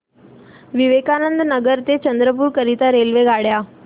विवेकानंद नगर ते चंद्रपूर करीता रेल्वेगाड्या